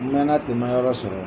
N mɛna ten n ma yɔrɔ sɔrɔ